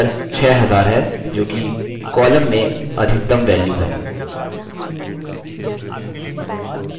ध्यान दें कि उत्तर 6000 है जोकि column में अधिकतम value है